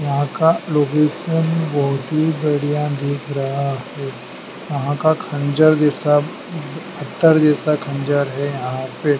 यहां का लोकेशन बहोत ही बढ़िया दिख रहा है यहां का खंजर जैसा पत्थर जैसा खंजर है यहां पे।